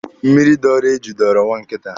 Mmịrị dọọrọ eju dọọrọ nwa nkịta.